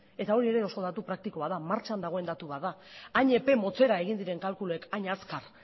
eta hori ere oso datu praktikoa da martxan dagoen datu bat da hain epe motzera egin diren kalkuloek hain azkar